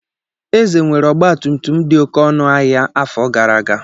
Eze nwere ọgba tum tum dị oké ọnụ ahịa afọ gara aga.